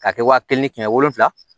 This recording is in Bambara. K'a kɛ wa kelen ni kɛmɛ wolonfila